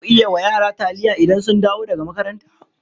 Za ku yi wa yara taliya idan sun dawo daga makaranta.